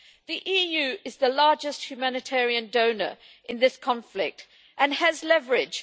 The EU is the largest humanitarian donor in this conflict and has leverage.